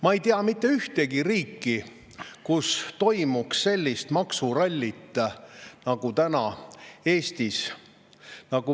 Ma ei tea mitte ühtegi riiki, kus toimuks selline maksuralli nagu praegu Eestis.